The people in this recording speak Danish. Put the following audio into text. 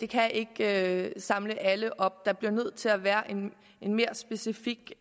kan ikke samle alle op der bliver nødt til at være en mere specifik